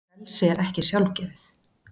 Frelsi er ekki sjálfgefið.